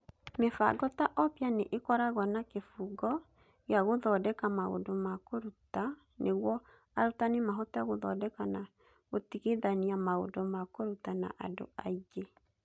Mĩbango ta Oppia nĩ ĩkoragwo na kĩbungo gĩa gũthondeka maũndũ ma kũruta nĩguo arutani mahote gũthondeka na gũtigithania maũndũ ma kũruta na andũ aingĩ.